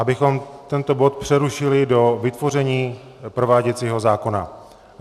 Abychom tento bod přerušili do vytvoření prováděcího zákona.